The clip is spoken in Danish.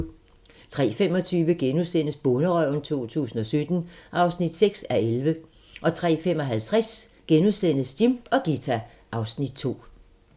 03:25: Bonderøven 2017 (6:11)* 03:55: Jim og Ghita (Afs. 2)*